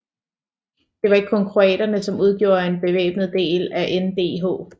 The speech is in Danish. Der var ikke kun kroaterne som udgjorde den bevæbnede del af NDH